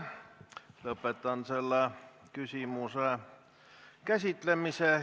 Lõpetan selle küsimuse käsitlemise.